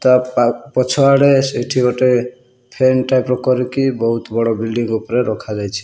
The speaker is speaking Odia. ତା ପା ପଛଆଡେ ସେଇଠି ଗୋଟେ ଫ୍ୟାନ୍ ଟାଇପ୍ ର କରିକି ବୋହୁତ୍ ବଡ଼ ବିଲ୍ଡିଙ୍ଗ୍ ଓପରେ ରଖାଯାଇଛି।